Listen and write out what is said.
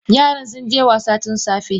Yaran sunje wasa tunsafe.